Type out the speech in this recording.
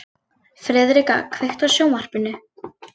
Friðrika, kveiktu á sjónvarpinu.